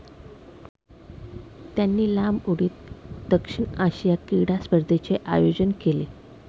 त्यांनी लांब उडीत दक्षिण आशिया क्रीडा स्पर्धेचे आयोजन केले.